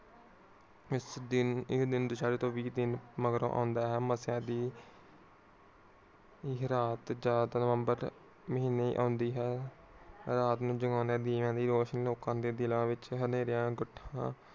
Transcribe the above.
ਇਸ ਦਿਨ ਇਹ ਦਿਨ ਦੁਸ਼ਹਿਰੇ ਤੋਂ ਬੀ ਦਿਨ ਮੰਗਰੋੰ ਆਉਂਦਾ ਹੈ। ਮਸਿਆ ਦੀ ਇਹ ਰਾਤ ਨਵੰਵਰ ਮਹੀਨੇ ਨਦੀ ਹੈ। ਰਾਤ ਨੂੰ ਦਿਵੇਆਂ ਦੀ ਰੋਸ਼ਨੀ ਲੋਕਾਂ ਦੇ ਦਿਲਾਂ ਵਿਚ ਹਨੇਰਿਆਂ